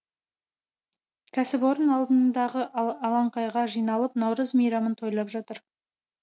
кәсіпорын алдындағы алаңқайға жиналып наурыз мейрамын тойлап жатыр